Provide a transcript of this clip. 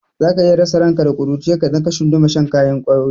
Za ka iya rasa ranka da ƙuruciyarka idan ka tsunduma shan ƙwayoyi.